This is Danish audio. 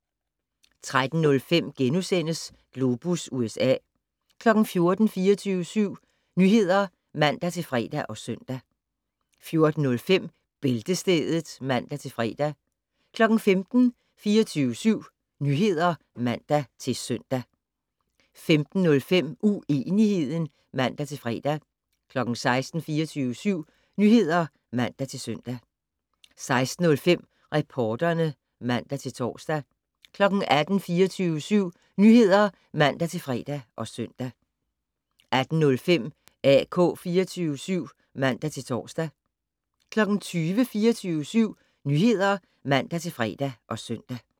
13:05: Globus USA * 14:00: 24syv Nyheder (man-fre og søn) 14:05: Bæltestedet (man-fre) 15:00: 24syv Nyheder (man-søn) 15:05: Uenigheden (man-fre) 16:00: 24syv Nyheder (man-søn) 16:05: Reporterne (man-tor) 18:00: 24syv Nyheder (man-fre og søn) 18:05: AK 24syv (man-tor) 20:00: 24syv Nyheder (man-fre og søn)